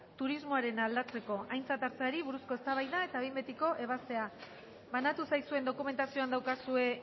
turismoarena aldatzeko aintzat hartzeari buruzko eztabaida eta behin betiko ebaztea banatu zaizuen dokumentazioan daukazue